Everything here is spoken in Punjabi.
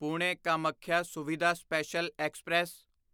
Pune Kamakhya Suvidha special express